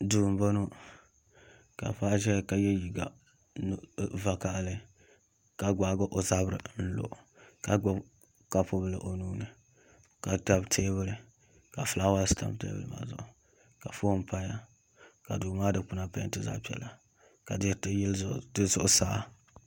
Duu n boŋo ka paɣa ʒɛya ka yɛ liiga vakaɣali ka gbaagi o zabiri n lo ka gbubi kapu bili o nuuni ka tabi teebuli ka fulaawaasi tam teebuli maa zuɣu ka foon paya ka duu maa dikpuna peenti zaɣ piɛla ka diriti yili zuɣusaa